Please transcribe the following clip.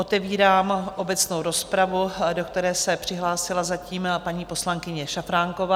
Otevírám obecnou rozpravu, do které se přihlásila zatím paní poslankyně Šafránková.